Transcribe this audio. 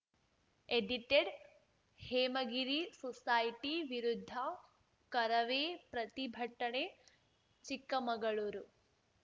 edited Hemagiri society ವಿರುದ್ಧ ಕರವೇ ಪ್ರತಿಭಟನೆ ಚಿಕ್ಕಮಗಳೂರು